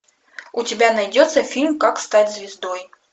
у тебя найдется фильм как стать звездой